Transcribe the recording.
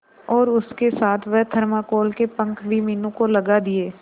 और उसके साथ वह थर्माकोल के पंख भी मीनू को लगा दिए